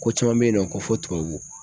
Ko caman bɛ ye nɔ ko fo tubabu.